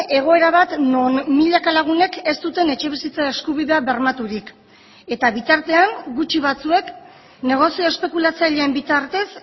egoera bat non milaka lagunek ez duten etxebizitza eskubidea bermaturik eta bitartean gutxi batzuek negozio espekulatzaileen bitartez